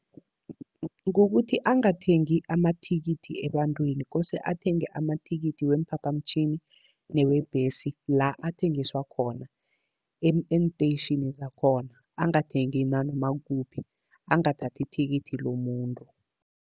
Kukuthi angathengi amathikithi ebantwini kose athenge amathikithi weemphaphamtjhini newebhesi la athengiswa khona , eenteyitjhini zakhona angathengi nanoma kuphi, angathathi ithikithi lomuntu.